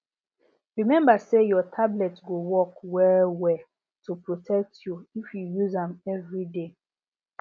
remember say your tablet go work wellwell to protect you if you use am every day